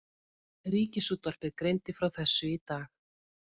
Ríkisútvarpið greindi frá þessu í dag